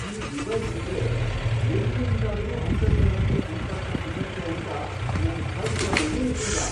ಈ ಡಿವೈಸ್ ಇದ್ರೆ ಎಲ್ಲಿಂದ್ಲಾದ್ರೂ ಅಂತರ್ಜಾಲಕ್ಕೆ ಸಂಪರ್ಕ ಸಿಗತ್ತೆ ಅಂತ ನಂಗ್ ಕಲ್ಪನೆನೇ ಇರ್ಲಿಲ್ಲ.